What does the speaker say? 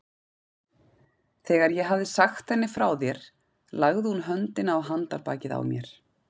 Þegar ég hafði sagt henni frá þér lagði hún höndina á handarbakið á mér.